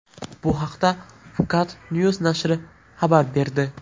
Bu haqda Phuket News nashri xabar berdi .